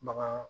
Bagan